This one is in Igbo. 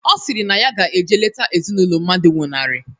Ọ sịrị na ya ga-eje lete ezinaụlọ mmadụ nwụnarị